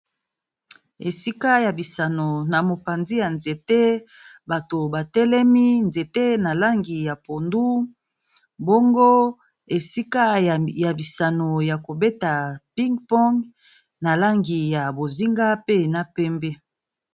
Esika ya bisano, na mopanzi ya nzete batu ba telemi , nzete na langi ya pondu, bongo esika ya bisano ya ko beta ping-pong na langi ya bozinga pe na pembe .